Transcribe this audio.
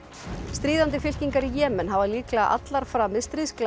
stríðandi fylkingar í Jemen hafa líklega allar framið stríðsglæpi